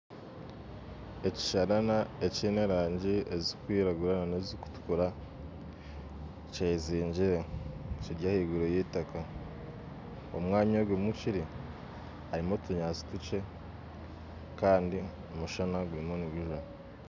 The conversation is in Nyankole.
Ekishaarara ekiine erangi ezikwiranguura n'ezikutukura kyezingire kiri ahaiguru y'eitaka omwanya ahu kiri harimu otunyaatsi tukye kandi omushana gurimu nigujwa